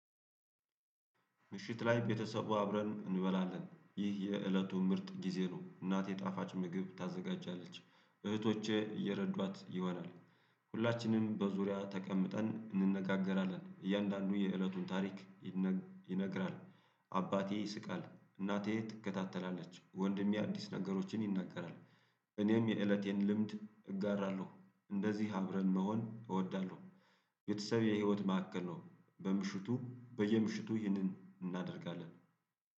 ምሽት ላይ ቤተሰቡ አብረን እንበላለን ይህ የእለቱ ምርጥ ጊዜ ነው እናቴ ጣፋጭ ምግብ ታዘጋጃለች እህቶቼ እየረዷት ይሆናል። ሁላችንም በዙሪያ ተቀምጠን እንነጋገራለን እያንዳንዱ የእለቱን ታሪክ ይነግራል። አባቴ ይስቃል እናቴ ትከታተላለች ወንድሜ አዲስ ነገሮችን ይናገራል። እኔም የእለቴን ልምድ እጋራለሁ እንደዚህ አብረን መሆን እወዳለሁ። ቤተሰብ የህይወት ማዕከል ነው። በምሽቱ በየምሽቱ ይህንን እናደርጋለን